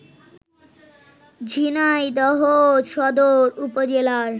ঝিনাইদহ সদর উপজেলার